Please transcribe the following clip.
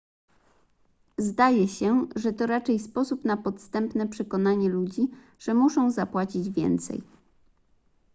zdaje się że to raczej sposób na podstępne przekonanie ludzi że muszą zapłacić więcej